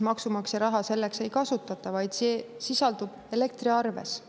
Maksumaksja raha selleks ei kasutata, vaid see sisaldub elektriarves.